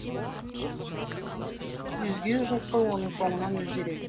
өзге жылқы оның соңынан өзі ереді